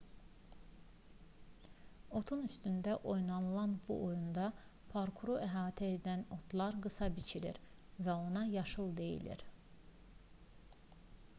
otun üstündə oynanılan bu oyunda parkuru əhatə edən otlar qısa biçilir və ona yaşıl deyilir